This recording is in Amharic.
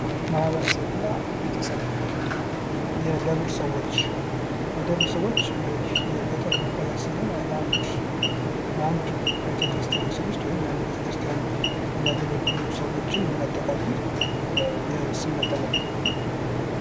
ማህበረሰብ እና ቤተሰብ ፦ የደብር ሰዎች ፦ የደብር ሰዎች የገጠር መጠሪያ ሲሆን በአንድ ቤተ ክርስቲያን ስር ውስጥ ወይም የአንድ ቤተ ክርስቲያን የሚያገለግሉ ሰዎችን የሚያጠቃልል የስም መጠሪያ ነው ።